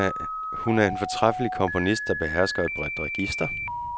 Hun er en fortræffelig komponist, der behersker et bredt register.